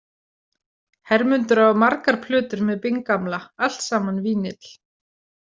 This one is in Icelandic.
Hermundur á margar plötur með Bing gamla, alltsaman vínyll.